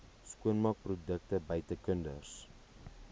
skoonmaakprodukte buite kinders